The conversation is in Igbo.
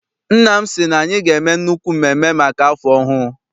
Nna m sị na anyị ga- eme nnukwu mmemme maka afọ ọhụụ.